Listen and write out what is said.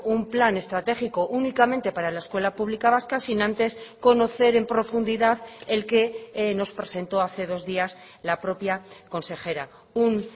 un plan estratégico únicamente para la escuela pública vasca sin antes conocer en profundidad el que nos presentó hace dos días la propia consejera un